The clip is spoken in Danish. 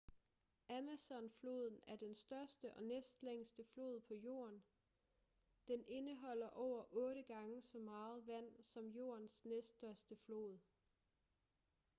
amazonfloden er den største og næstlængste flod på jorden den indeholder over 8 gange så meget vand som jordens næststørste flod